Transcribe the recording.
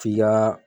F'i ka